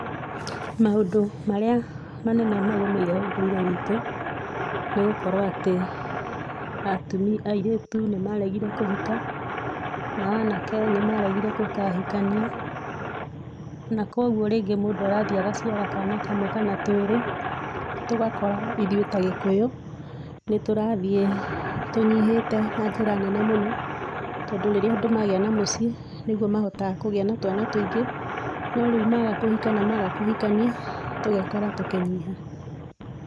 Maũndũ marĩa manene magũmĩire ũndũire witũ, nĩgũkorwo atĩ, atumi airĩtu nĩmaregire kũhika, nao anake nĩmaregire gũkahikania, nakoguo rĩngĩ mũndũ arathiĩ agaciara kana kamwe kana twĩrĩ, tũgakora ithuĩ ta gĩkũyũ, nĩtũrathiĩ tũnyihĩte na njĩra nene mũno, tondũ rĩrĩa andũ magĩa na mũciĩ, nĩguo mahotaga kũgĩa na twana tũingĩ, no rĩu maga kũhika na maga kũhikania, tũgekora tũkĩnyiha.